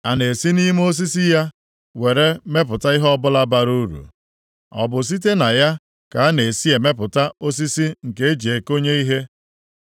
A na-esi nʼime osisi ya were mepụta ihe ọbụla bara uru? Ọ bụ site na ya ka a na-esi emepụta osisi nke e ji ekonye ihe?